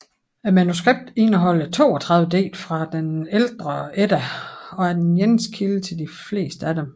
Manuskriptet indeholder 32 digte fra den ældre Edda og er den eneste kilde til de fleste af dem